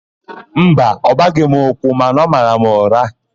Mba, ọ gbaghị m ụkwụ mana ọ mara m ụra.